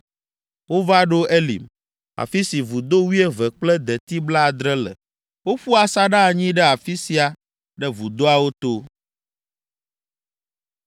Wova ɖo Elim, afi si vudo wuieve kple deti blaadre le. Woƒu asaɖa anyi ɖe afi sia ɖe vudoawo to.